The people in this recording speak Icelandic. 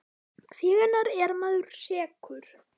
Hvenær er maður sekur?